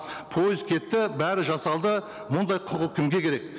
пойыз кетті бәрі жасалды мұндай құқық кімге керек